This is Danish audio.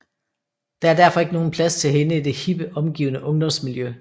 Der er derfor ikke nogen plads til hende i det hippe omgivende ungdomsmiljø